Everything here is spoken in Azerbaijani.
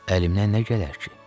Əlimdən nə gələr ki?